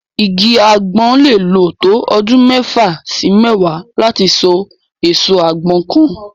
Igi àgbọn lè lò tó ọdún mẹ́fà sí mẹ́wàá láti so èso àgbọn kan.